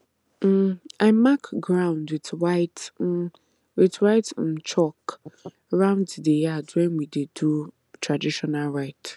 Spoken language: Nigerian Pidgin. um i mark ground with white um with white um chalk round the yard when we dey do traditional rite